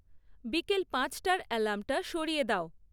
বিকেল পাঁচটার অ্যালার্মটা সরিয়ে দাও